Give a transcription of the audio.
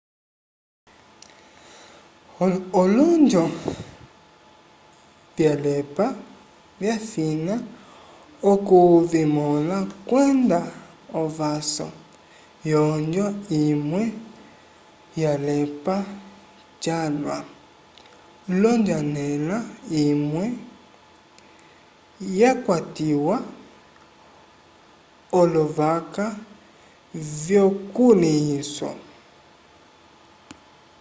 olonjo vyalepa vyafina okuvimõla kwenda ovaso yonjo imwe yalepa calwa l'onjanela imwe yakwatiwa lovaka vyukulĩhiso